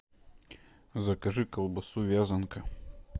закажи колбасу вязанка